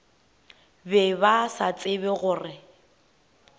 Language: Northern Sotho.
be ba sa tsebe gore